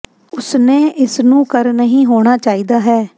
ਉਸ ਨੇ ਇਸ ਨੂੰ ਕਰ ਨਹੀ ਹੋਣਾ ਚਾਹੀਦਾ ਹੈ